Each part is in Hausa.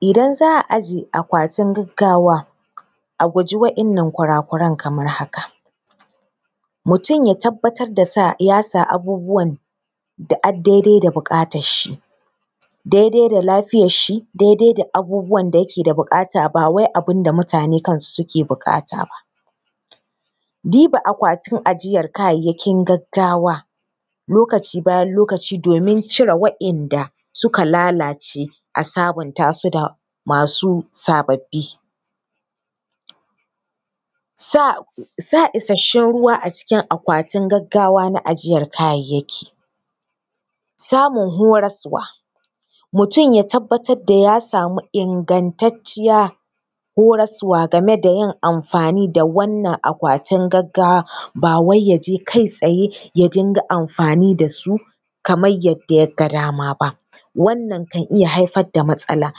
Idan za a aje akwatin gaggawa, a guji waɗannan kurakuran kamar haka: mutum ya tabbatar da ya sa abubuwan da ad daidai da buƙatarshi, daidai da lafiyarshi, daidai da abubuwan da yake da buƙata, ba wai abin da mutane kansu suke buƙata ba. Diba akwatin ajiyar kayan gaggawa gaggawa lokaci bayan lokaci domin cire waɗanda suka lalace a sabunta su da masu sababbi. Sa, sa isasshen ruwa a cikin akwatin gaggawa na ajiyar kayayyaki, samun horaswa, mutum ya tabbatar da ya samu ingantacciya horaswa game da yin amfani da wannan akwatin gaggawa ba wai ya je kai-tsaye ya dinga amfani da su kamar yadda ya ga dama ba. Wannan kan iya haifar da matsala,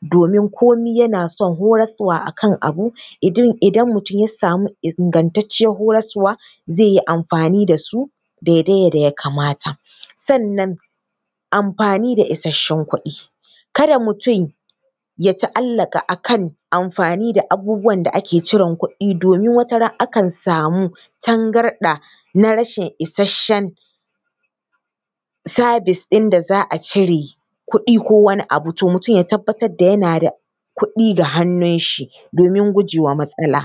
domin komai yana son horaswa a kan abu, idan mutum ya samu ingantaccen horaswa, zai yi amfani da su daidai da yadda ya kamata. Sannan amfani da isasshen kuɗi, kada mutum ya ta’allaƙa a kan amfani da abubuwan da ake jiran kuɗi domin wata ran akan samu tangarɗa na rashin isasshen service inda za a cire kuɗi ko wani abu, to mutum ya tabbatar da yana da kuɗi ga hannunshi domin guje wa matsala.